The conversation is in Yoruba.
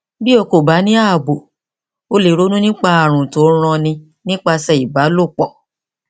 bí o kò bá ní ààbò o lè ronú nípa ààrùn tí ń ranni nípasẹ ìbálòpọ